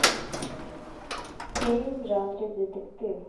фильм в жанре детектив